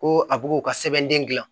Ko a b'u ka sɛbɛnden gilan